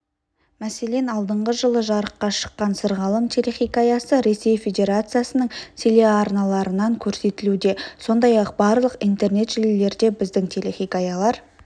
мәселен алдыңғы жылы жарыққа шыққан сырғалым телехикаясы ресей федерациясының телеарналарынанкөрсетілуде сондай-ақ барлық интернет желілерде біздің телехикаялар